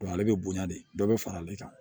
ale bɛ bonya de bɛɛ bɛ fara ale kan